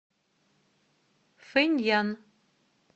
фэньян